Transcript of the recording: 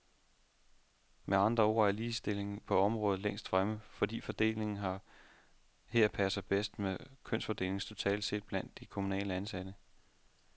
Med andre ord er ligestillingen på det område længst fremme, fordi fordelingen her passer bedst med kønsfordelingen totalt set blandt de kommunalt ansatte.